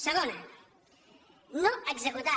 segona no executar